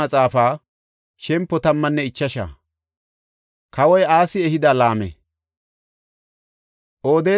Odeeda na7aa Azaariyasa bolla Xoossaa Ayyaanay wodhis.